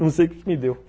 Não sei o que que me deu.